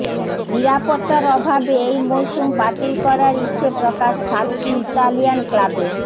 নিরাপত্তার অভাবে এই মরশুম বাতিল করার ইচ্ছে প্রকাশ সাতটি ইতালিয়ান ক্লাবের